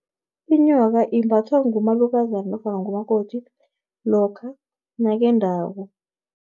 Inyoka, imbathwa ngumalukazana, nofana ngumakoti, lokha nakendako.